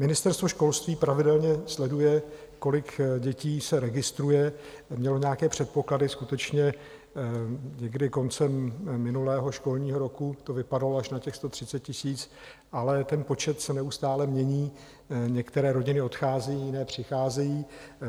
Ministerstvo školství pravidelně sleduje, kolik dětí se registruje, mělo nějaké předpoklady, skutečně, někdy koncem minulého školního roku to vypadalo až na těch 130 000, ale ten počet se neustále mění, některé rodiny odcházejí, jiné přicházejí.